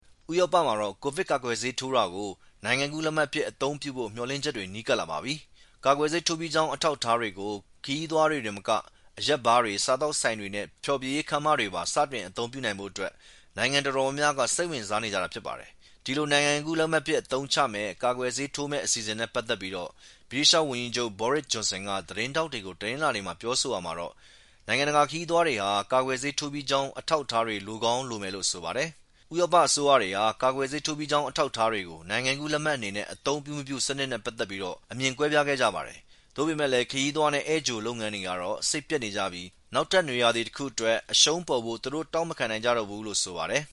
ဥရောပမှာတော့ ကာကွယ်ဆေးထိုးတာကို နိုင်ငံကူးလက်မှတ်အဖြစ် အသုံးပြုဖို့မျှော်လင့်ချက်တွေ နီးကပ်လာပါပြီ။ ကာကွယ်ဆေးထိုးပြီးကြောင်းအထောက်အထားတွေကို ခရီးသွားတွေတင်မက အရက်ဘားတွေ၊ စားသောက်ဆိုင်တွေနဲ့ဖျော်ဖြေရေးခန်းမတွေမှာပါ စတင်အသုံးပြုနိုင်ဖို့အတွက် နိုင်ငံတော်တော်များများက စိတ်ဝင်စားနေကြတာဖြစ်ပါတယ်။ ဒီလို နိုင်ငံကူးလက်မှတ်အဖြစ် ကာကွယ်ဆေးထိုးမယ့်အစီအစဉ်နဲ့ပက်သက်ပြီး ဗြိတိသျှဝန်ကြီးချုပ် Boris Johnson က သတင်းထောက်တွေကို တနင်္လာနေ့မှာ ပြောရာမှာတော့ နိုင်ငံတကာခရီးသွားတွေဟာ ကာကွယ်ဆေးထိုးပြီးကြောင်းအထောက်အထားတွေ လိုကောင်းလိုမယ်လို့ဆိုပါတယ်။ ဥရောပအစိုးရတွေဟာ ကာကွယ်ဆေးထိုးပြီးကြောင်းအထောက်အထားကို နိုင်ငံကူးလက်မှတ်အနေနဲ့ပြုလုပ်မပြုလုပ်စနစ်နဲ့ပတ်သက်ပြီး အမြင်တွေကွဲပြားခဲ့ကြပါတယ်။ သို့ပေမယ့်လည်း ခရီးသွားနဲ့ဧည့်ကြိုလုပ်ငန်းတွေကတော့ သူတို့ရဲ့ လုပ်ငန်းကိုင်ငန်းတွေအတွက် စိတ်ပျက်နေကြပြီး နောက်ထပ်နွေရာသီတခုအတွက် အရှုံးပေါ်ဖို့သူတို့တောင့်မခံနိုင်ကြတော့ဘူးလို့ဆိုပါတယ်